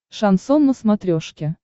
шансон на смотрешке